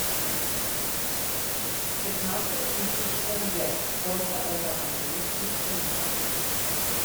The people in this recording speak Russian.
пятнадцать тысяч тенге сколько это в английских фунтах